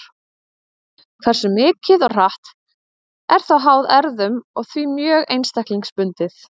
Hversu mikið og hratt er þó háð erfðum og því mjög einstaklingsbundið.